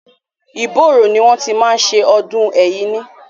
Ìbóòrò ni wọ́n ti máa ń ṣe ọdún Ẹ̀yíní.